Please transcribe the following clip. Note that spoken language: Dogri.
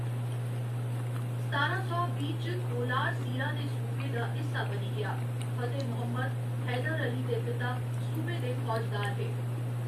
सतारां सौ बीह्‌ च, कोलार सीरा दे सूबे दा हिस्सा बनी गेआ, फतेह मुहम्मद, हैदर अली दे पिता, सूबे दे फौजदार हे।